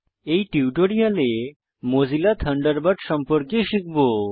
এই টিউটোরিয়ালে Mozilla Thunderbird সম্পর্কে শিখব